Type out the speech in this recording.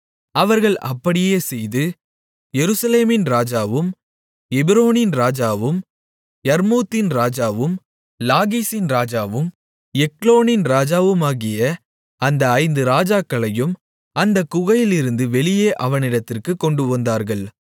அவர்கள் அப்படியே செய்து எருசலேமின் ராஜாவும் எபிரோனின் ராஜாவும் யர்மூத்தின் ராஜாவும் லாகீசின் ராஜாவும் எக்லோனின் ராஜாவுமாகிய அந்த ஐந்து ராஜாக்களையும் அந்தக் குகையிலிருந்து வெளியே அவனிடத்திற்குக் கொண்டுவந்தார்கள்